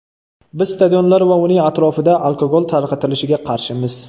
Biz stadionlar va uning atrofida alkogol tarqatilishiga qarshimiz.